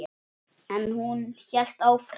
En hún hélt áfram.